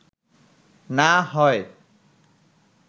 না হয়”